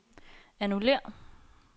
annullér